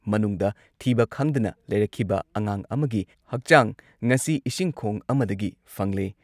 ꯃꯅꯨꯡꯗ ꯊꯤꯕ ꯈꯪꯗꯅ ꯂꯩꯔꯛꯈꯤꯕ ꯑꯉꯥꯡ ꯑꯃꯒꯤ ꯍꯛꯆꯥꯡ ꯉꯁꯤ ꯏꯁꯤꯡ ꯈꯣꯡ ꯑꯃꯗꯒꯤ ꯐꯪꯂꯦ ꯫